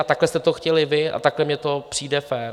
A takhle jste to chtěli vy a takhle mi to přijde fér.